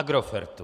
Agrofertu!